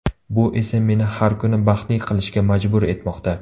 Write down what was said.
Bu esa meni har kuni baxtli qilishga majbur etmoqda.